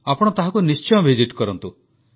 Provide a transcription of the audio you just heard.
ଆପଣ ତାହାକୁ ନିଶ୍ଚୟ ଭିସିଟ୍ କରନ୍ତୁ